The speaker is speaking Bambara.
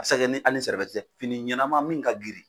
A se ka kɛ ni hali tɛ fini ɲɛnama min ka girin